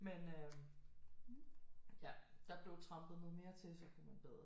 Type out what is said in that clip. Men øh ja der blev trampet noget mere til så kunne man bedre